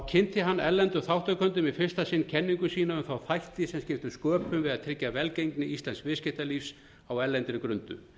kynnti hann erlendum þátttakendum í fyrsta sinn kenningu sína um þættina sem skiptu sköpum við að tryggja velgengni íslensks viðskiptalífs á erlendri grundu